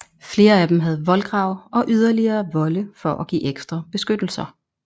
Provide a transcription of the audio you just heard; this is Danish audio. Flere af dem havde voldgrav og yderligere volde for at give ekstra beskyttelser